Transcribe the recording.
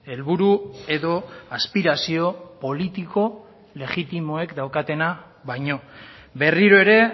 helburu edo aspirazio politiko legitimoek daukatena baino berriro ere